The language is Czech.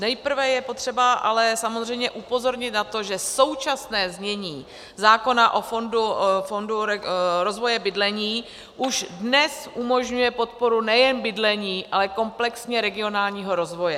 Nejprve je potřeba ale samozřejmě upozornit na to, že současné znění zákona o fondu rozvoje bydlení už dnes umožňuje podporu nejen bydlení, ale komplexně regionálního rozvoje.